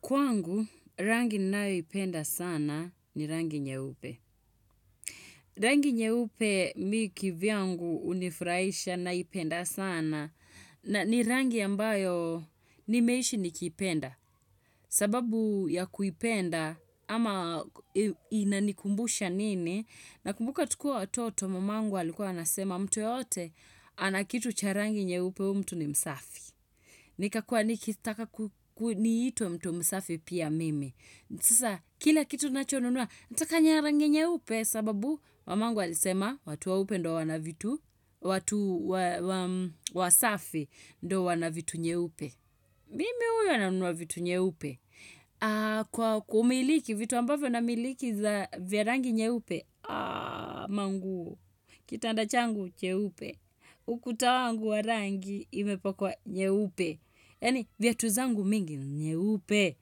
Kwangu, rangi ninaoipenda sana ni rangi nyeupe. Rangi nyeupe mi kivyangu hunifurahisha naipenda sana na ni rangi ambayo nimeishi nikipenda. Sababu ya kuipenda ama inainanikumbusha nini nakumbuka tukiwa watoto mamangu alikuwa anasema mtu yoyote ana kitu cha rangi nyeupe huyu mtu ni msafi. Nika kuwa nikitaka ku niitwe mtu msafi pia mimi Sasa, kila kitu nacho nunuwa, nataka nya rangi nyeupe sababu, mamangu alisema, watu weupe ndo wana vitu, watu wa safi ndo wana vitu nye upe. Mimi huyo na nunua vitu nyeupe? Kwa kumiliki, vitu ambavyo namiliki za vya rangi nyeupe, aaa, manguo Kitanda changu, nyeupe. Ukuta wangu wa rangi, imepakwa nyeupe. Yani viatu zangu mingi ni nyeupe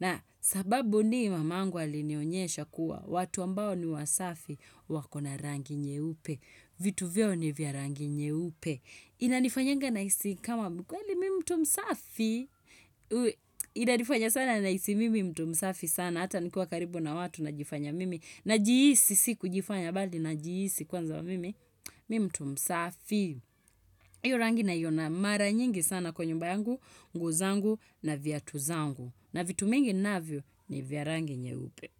na sababu ni mamangu alinionyesha kuwa watu ambao ni wasafi wakona rangi nyeupe vitu vyao ni vya rangi nyeupe inanifanyanga nahisi kama kweli mi mtu msafi inani fanya sana nahisi mimi mtu msafi sana hata nikiwa karibu na watu najifanya mimi najihisi si kujifanya bali najihisi kwanza wa mimi mtu msafi iyo rangi naiona mara nyingi sana kwa nyumba yangu, nguo zangu na viatu zangu. Na vitu mingi ninavyo ni vya rangi nyeupe.